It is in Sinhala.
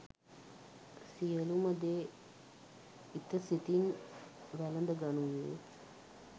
සියලුම දේ ඉතසිතින් වැළඳ ගනුයේ